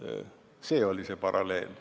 See oli see paralleel.